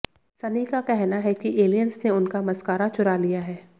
सनी का कहना है कि एलियंस ने उनका मस्कारा चुरा लिया है